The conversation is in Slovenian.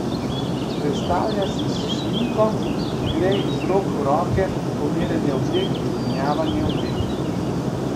Predstavlja si šminko, ki gre iz rok v roke, pomerjanje oblek, menjavanje oblek.